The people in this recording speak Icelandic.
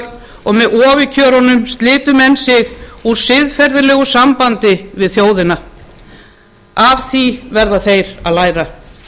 með ofurkjörunum slitu menn sig úr siðferðilegu sambandi við þjóðina af því verða þeir að læra